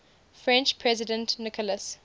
french president nicolas